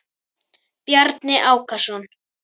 Bjarni Ákason.